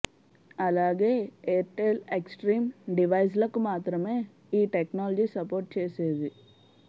అలాగే Airtel extreme డివైస్లకు మాత్రమే ఈ టెక్నాలజీ సపోర్ట్ చేసేది